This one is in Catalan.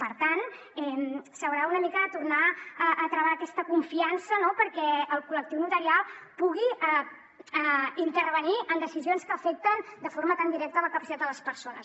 per tant s’haurà una mica de tornar a travar aquesta confiança no perquè el col·lectiu notarial pugui intervenir en decisions que afecten de forma tan directa la capacitat de les persones